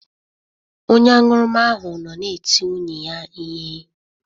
Onye aṅụrụma ahụ nọ na-eti nwunye ya ihe.